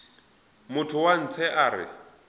motho wa ntshe a re